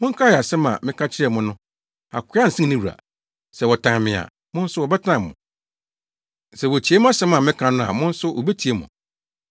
Monkae asɛm a meka kyerɛɛ mo no: ‘Akoa nsen ne wura.’ Sɛ wɔtan me a, mo nso wɔbɛtan mo; sɛ wotie mʼasɛm a meka no a, mo nso wobetie mo.